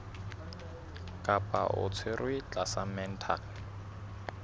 kapa o tshwerwe tlasa mental